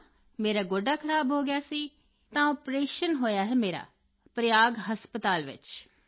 ਹਾਂ ਮੇਰਾ ਗੋਡਾ ਖਰਾਬ ਹੋ ਗਿਆ ਸੀ ਤਾਂ ਆਪਰੇਸ਼ਨ ਹੋਇਆ ਹੈ ਮੇਰਾ ਪ੍ਰਯਾਗ ਹਸਪਤਾਲ ਵਿੱਚ